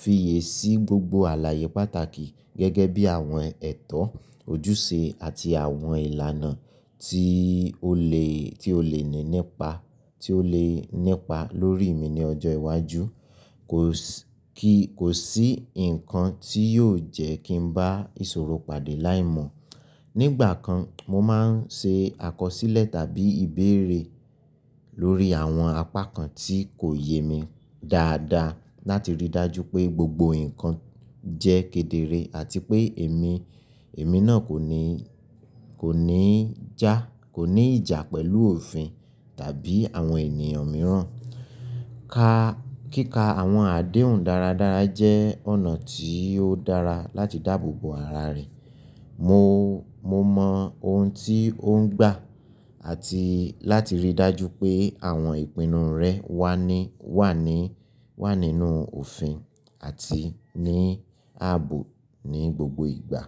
fi yè sí gbogbo àlàyé pàtàkì gẹ́gẹ́ bí àwọn ẹ̀tọ́, ojúṣe àti àwọn ìlànà tí ó lè, tí ó lè nípa, tí ó lè nípa lórí mi ní ọjọ́ iwájú. Kò sí, kò sí nǹkan tí yóò jẹ́ kí n bá ìṣòro pàdé láìmọ̀. Nígbà kan, mo máa ń ṣe àkọsílẹ̀ tàbí ìbéèrè lórí àwọn apá kan tí kò yé mi dáadáa láti ríi dájú pé gbogbo nǹkan jẹ́ kedere àti pé èmi, èmi náà kò ní, kò ní já, kò ní ìjà pẹ̀lú òfin tàbí àwọn ènìyàn mìíràn. Ka, kíka àwọn àdéhùn dáradára jẹ́ ọ̀nà tí ó dára láti dáàbò bo ara rẹ, mo, mo mọ ohun tí ó ń gbà àti láti ríi dájú pé àwọn ìpinnu rẹ wà ní, wà ní, wà nínú òfin àti ní ààbò ní gbogbo ìgbà.